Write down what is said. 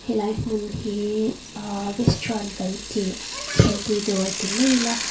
he lai hmun hi ahh restaurant kan tih thingpui dawr ti mai ila--